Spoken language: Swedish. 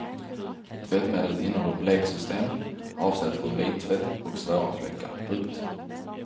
Tvättmedlet innehåller bleksystem avsett för vittvätt och svåra fläckar. punkt